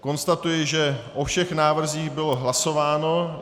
Konstatuji, že o všech návrzích bylo hlasováno.